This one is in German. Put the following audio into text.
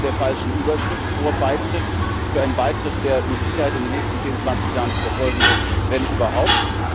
Sie sind unter der falschen Überschrift Vorbeitritt für einen Beitritt, der mit Sicherheit in den nächsten 10 bis 20 Jahren nicht erfolgen wird, wenn überhaupt.